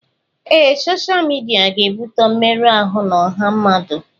Ee, sọsha midia ga-ebute mmerụ ahụ na ọha mmadụ.